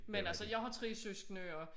Men altså jeg har 3 søskende og